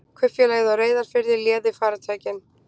Kaupfélagið á Reyðarfirði léði farartækin.